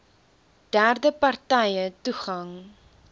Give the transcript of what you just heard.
derde partye toegang